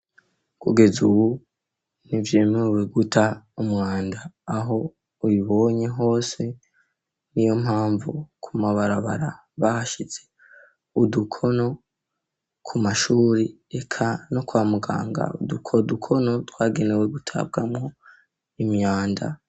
Kugeza ubu ntivyemewe guta umwanda aho ubibonye hose niyo mpamvu ku mabarabara bahashize udukono ku mashure eka no kwa muganga udukono twagenewe gutabwamo imyanda.